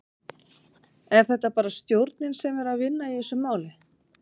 Er þetta bara stjórnin sem er að vinna í þessu máli?